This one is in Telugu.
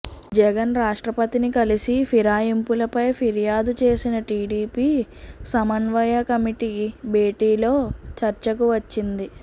జగన్ రాష్ట్రపతిని కలిసి ఫిరాయింపులపై ఫిర్యాదు చేసిన టిడిపి సమన్వయ కమిటీ భేటీలో చర్చకు వచ్చింది